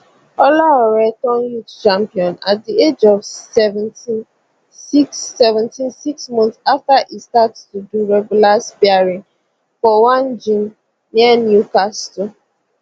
olaore turn youth champion at di age of seventeensix seventeensix months afta e start to do regular sparring for one gym near newcastle